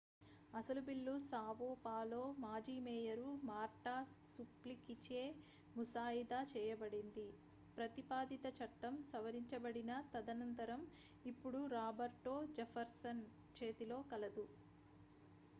అసలు bill Sao Paulo మాజీ mayor Marta సుప్లికీచే ముసాయిదా చేయబడింది ప్రతిపాదిత చట్టం సవరించబడిన తదనంతరం ఇప్పుడు రాబర్టో జెఫర్సన్ చేతిలో కలదు